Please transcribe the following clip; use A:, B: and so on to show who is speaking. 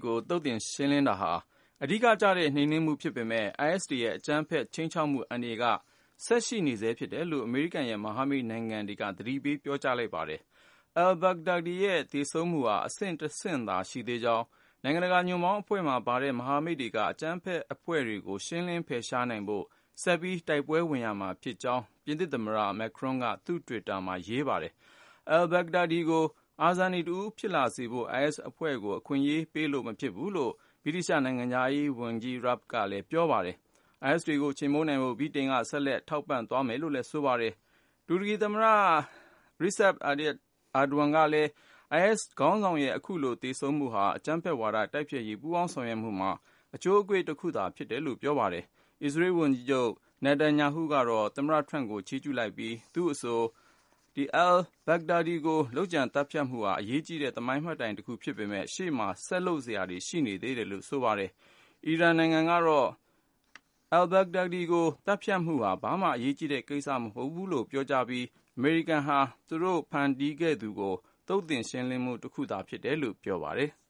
A: ကို သုတ်သင်ရှင်းလင်းတာဟာ အဓိကကျတဲ့ နှိမ်နင်းမှုဖြစ်ပေမယ့် IS တွေရဲ့ အကြမ်းဖက် ခြိမ်းခြောက်မှု အန္တရာယ်က ဆက်ရှိနေဆဲဖြစ်တယ်လို့ အမေရိကန်ရဲ့ မဟာမိတ်နိုင်ငံတွေက ပြောကြားလိုက်ပါတယ်။ al-Baghdadi ရဲ့ သေဆုံးမှုဟာ အဆင့်တဆင့်သာရှိသေးကြောင်း၊ နိုင်ငံတကာ ညွန့်ပေါင်းအဖွဲ့မှာပါတဲ့ မဟာမိတ်တွေက အကြမ်းဖက်အဖွဲ့တွေကို ရှင်းလင်း ဖယ်ရှားနိုင်ဖို့ ဆက်ပြီး တိုက်ပွဲဝင်ရမှာဖြစ်ကြောင်း ပြင်သစ်သမ္မတ Emmanuel Macron က သူ့တွစ်တာမှာ ရေးပါတယ်။ al-Baghdadi ကို အာဇာနည်တဦး ဖြစ်လာစေဖို့ IS အဖွဲ့ကို အခွင့်အရေးပေးလို့ မဖြစ်ဘူးလို့ ဗြိတိသျှ နိုင်ငံခြားရေးဝန်ကြီး Dominic Raab ကလည်း ပြောပါတယ်။ IS တွေကို ချေမှုန်းနိုင်ဖို့ ဗြိတိန်က ဆက်လက် ထောက်ပံ့သွားမယ်လို့ ဆိုပါတယ်။ တူရကီသမ္မတ Recep Tayyip Erdogan ကလည်း IS ခေါင်းဆောင်ရဲ့ အခုလို သေဆုံးမှုဟာ အကြမ်းဖက်ဝါဒ တိုက်ဖျက်ရေး ပူးပေါင်းဆောင်ရွက်မှုမှာ အချိုးအကွေ့တခု ဖြစ်တယ်လို့ ပြောပါတယ်။ အစ္စရေးဝန်ကြီးချုပ် Netanyahu က သမ္မတ Trump ကို ချီးကျူးလိုက်ပြီး သူ့အဆို al-Baghdadi ကို လုပ်ကြံသတ်ဖြတ်မှုဟာ အရေးကြီးတဲ့ သမိုင်းမှတ်တိုင်တခု ဖြစ်ပေမယ့် ရှေ့မှာ ဆက်လုပ်စရာတွေ ကျန်နေသေးကြောင်း ပြောပါတယ်။ အီရန်နိုင်ငံကတော့ al-Baghdadi ကို သတ်ဖြတ်မှုဟာ ဘာမှ အရေးကြီးတဲ့ကိစ္စ မဟုတ်ဘူးလို့ ပြောကြားပြီး အမေရိကန်ဟာ သူတို့ဖန်တီးခဲ့တဲ့သူကို သုတ်သင်ရှင်းလင်းမှုတခုသာ ဖြစ်တယ်လို့ ပြောပါတယ်။